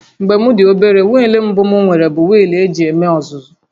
Mgbe m dị obere, wịịlụ mbụ m nwere bụ wịịlụ eji eme ọzụzụ